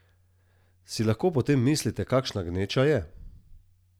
Si lahko potem mislite, kakšna gneča je?